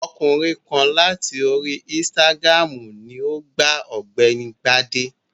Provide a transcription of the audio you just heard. Ọkùnrin kan láti orí insitagiramu ni o gba ọ̀gbẹ́ni Bade.